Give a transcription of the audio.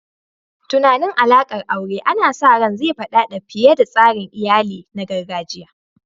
Tunanin alaƙar aure ana sa ran zai faɗaɗa fiye da tsarin iyali na gargajiya.